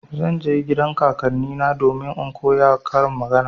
Zan je gidan kakannina domin in koya karin magana.